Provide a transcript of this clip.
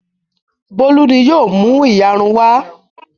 Bólú ni yóò mú ìyarun wá.